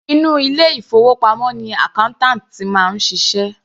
Inú ilé ìfowópamọ́ ni accountant ti máa ń ṣiṣẹ́.